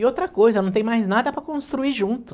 E outra coisa, não tem mais nada para construir junto.